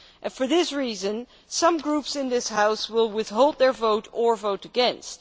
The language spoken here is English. For this reason, some groups in this House will withhold their vote or vote against.